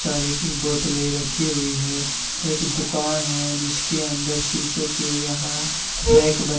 चारी की बोतल रखी हुई है। एक दुकान है जिसके अंदर शीशे के यहां रैक बने--